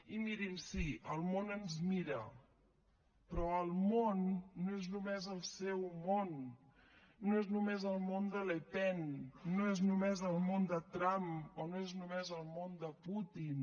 i mirin sí el món ens mira però el món no és només el seu món no és només el món de le pen no és només el món de trump o no és només el món de putin